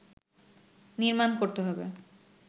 নির্মাণ করতে হবে